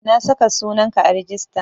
Na saka sunan ka a rijista